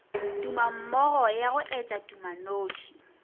tumammogo ya go etša tumanoši